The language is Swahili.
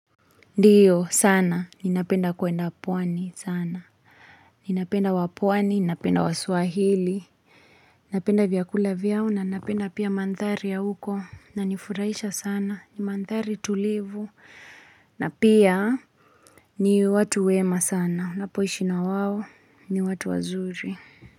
Ndiyo sana, ninapenda kwenda pwani sana. Ninapenda wapwani, ninapenda wasuahili. Ninapenda vyakula vyao na ninapenda pia mandhari ya huko. Inanifuraisha sana, ni mandhari tulivu. Na pia, ni watu wema sana. Napo ishi na wawo, ni watu wazuri.